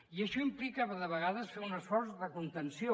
i això implicava de vegades fer un esforç de contenció